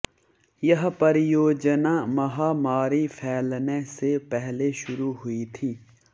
यह परियोजना महामारी फैलने से पहले शुरू हुई थी